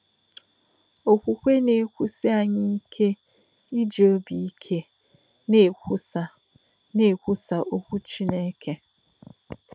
Òkwùkwè nà-èwúsí ányị̀ íké íjì òbí íké nà-èkwùsà nà-èkwùsà òkwù Chínèkè.